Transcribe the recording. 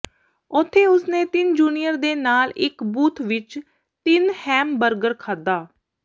ਉੱਥੇ ਉਸਨੇ ਤਿੰਨ ਜੂਨੀਅਰ ਦੇ ਨਾਲ ਇੱਕ ਬੂਥ ਵਿੱਚ ਤਿੰਨ ਹੈਮਬਰਗਰ ਖਾਧਾ